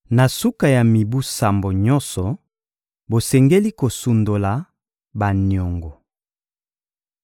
Na suka ya mibu sambo nyonso, bosengeli kosundola baniongo.